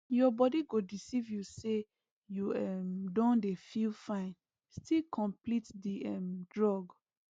your body go deceive you say you um don dey feel fine still complete di um drug